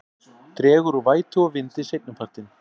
Dregur úr vætu og vindi seinnipartinn